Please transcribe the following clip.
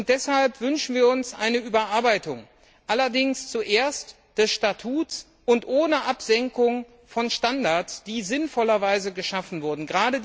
Deshalb wünschen wir uns eine Überarbeitung, allerdings zuerst des Statuts und ohne Absenkung von Standards, die sinnvollerweise geschaffen wurden.